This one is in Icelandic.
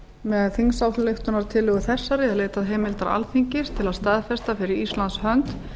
með þingsályktunartillögu þessari er leitað heimildar alþingis til að staðfesta fyrir íslands hönd